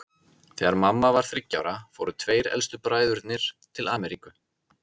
Þegar mamma var þriggja ára fóru tveir elstu bræðurnir til Ameríku.